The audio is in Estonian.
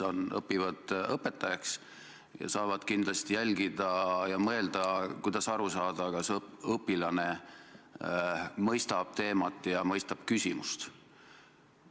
Nad õpivad õpetajaks ja saavad kindlasti meid jälgida ja mõelda, kuidas aru saada, kas õpilane ikka mõistab teemat ja mõistab küsimust.